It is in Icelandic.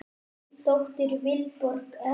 Þín dóttir, Vilborg Erla.